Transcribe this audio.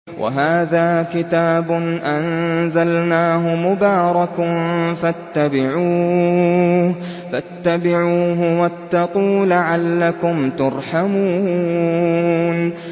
وَهَٰذَا كِتَابٌ أَنزَلْنَاهُ مُبَارَكٌ فَاتَّبِعُوهُ وَاتَّقُوا لَعَلَّكُمْ تُرْحَمُونَ